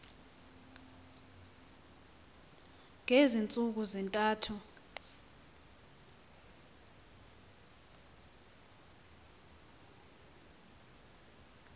ngezi ntsuku zintathu